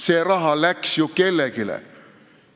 See raha läks ju kellelegi!